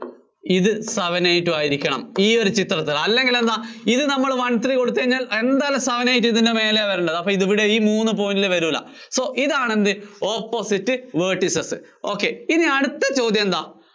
ഇത് seven eight ഉം ആയിരിക്കണം ഈ ഒരു ചിത്രത്തില്‍. അല്ലെങ്കില്‍ എന്താ ഇത് നമ്മള്‍ one three കൊടുത്തു കഴിഞ്ഞാല്‍ എന്തായാലും seven eight ഇതിന്‍റെ മേലേയ വരേണ്ടത്. അപ്പോ ഇത് ഇവിടെ ഈ മൂന്ന് point ല്‍ വരൂല്ല. so ഇതാണ് എന്ത് opposite vertices. ok ഇനി അടുത്ത ചോദ്യം എന്താ?